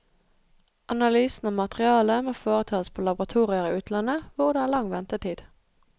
Analysen av materiale må foretas på laboratorier i utlandet, hvor det er lang ventetid.